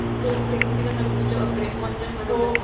तो स्प्रिंग सिजनमध्ये तर बापरे मजाच मजा होती आपली.